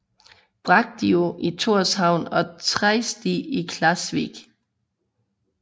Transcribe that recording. Bragdið i Tórshavn og Treysti i Klaksvík